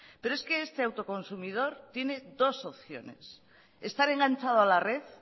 pero es que este autoconsumidor tiene dos opciones estar enganchado a la red